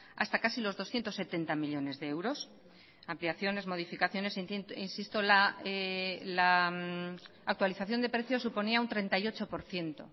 hasta casi los doscientos setenta millónes de euros ampliaciones modificaciones insisto la actualización de precios suponía un treinta y ocho por ciento